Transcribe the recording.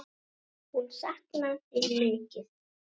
Hún saknar þín mikið.